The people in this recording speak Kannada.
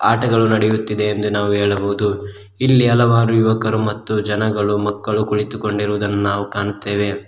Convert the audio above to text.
ಆಟಗಳು ನಡೆಯುತ್ತಿದೆ ಎಂದು ನಾವು ಹೇಳಬಹುದು ಇಲ್ಲಿ ಹಲವಾರು ಯುವಕರು ಮತ್ತು ಜನಗಳು ಮಕ್ಕಳು ಕುಳಿತುಕೊಂಡಿರುವುದನ್ನು ನಾವು ಕಾಣುತ್ತೆವೆ.